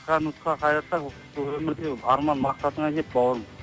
қысқа нұсқа қайырсақ өмірде арман мақсатыңа жет бауырым